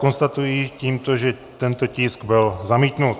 Konstatuji tímto, že tento tisk byl zamítnut.